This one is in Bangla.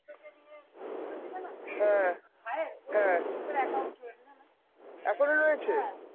হ্যাঁ, হ্যাঁ, এখনও রয়েছে?